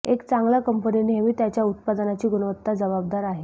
एक चांगला कंपनी नेहमी त्याच्या उत्पादनाची गुणवत्ता जबाबदार आहे